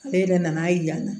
Ale yɛrɛ nana ye yan